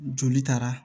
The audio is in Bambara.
Joli taara